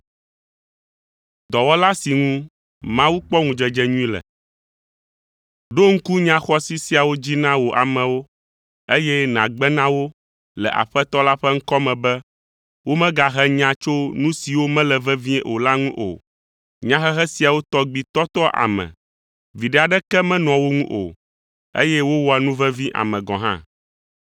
Ɖo ŋku nya xɔasi siawo dzi na wò amewo, eye nàgbe na wo le Aƒetɔ la ƒe ŋkɔ me be womagahe nya tso nu siwo mele vevie o la ŋu o. Nyahehe siawo tɔgbi tɔtɔa ame. Viɖe aɖeke menɔa wo ŋu o, eye wowɔa nu vevi ame gɔ̃ hã.